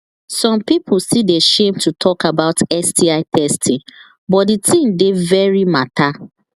some people still they shame to talk about sti testing but the thing dey very matter